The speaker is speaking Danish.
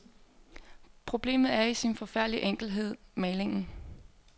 Problemet er i sin forfærdelige enkelthed malingen.